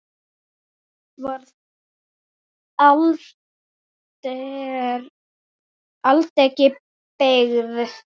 Varð aldregi beygð.